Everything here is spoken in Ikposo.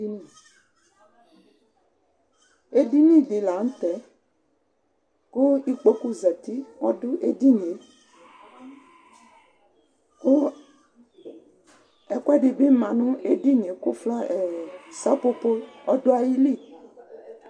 edini di lantɛ kò ikpoku zati ɔdo edinie kò ɛkoɛdi bi ma no edinie kò flawa sɛƒoƒo ɔdo ayili